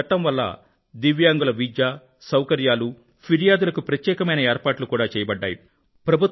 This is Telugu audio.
ఈ చట్టం వల్ల దివ్యాంగుల విద్య సౌకర్యాలు ఫిర్యాదులకి ప్రత్యేకమైన ఏర్పాట్లు కూడా చేయబడ్డాయి